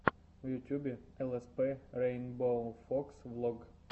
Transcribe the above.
в ютьюбе лспрейнбоуфокс влог